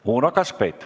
Uno Kaskpeit.